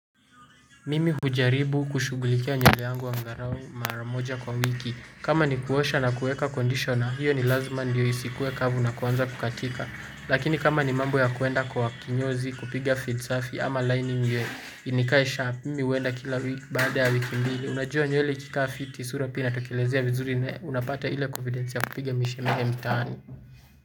Mimi hujaribu kushugulikia nywele yangu angalau mara moja kwa wiki. Kama ni kuosha na kuweka conditioner, hiyo ni lazima ndiyo isikuwe kavu na kuanza kukatika. Lakini kama ni mambo ya kwenda kwa kinyozi kupiga fade safi ama lining nikaisha, mimi huenda kila wiki baada ya wiki mbili. Unajua nywele ikikaa fiti sura pia inatokelezea vizuri na unapata ile confidence ya kupiga mishemishe mitaani.